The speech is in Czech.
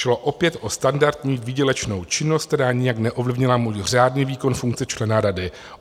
Šlo opět o standardní výdělečnou činnost, která nijak neovlivnila můj řádný výkon funkce člena rady.